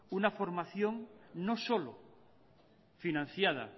una formación no solo financiada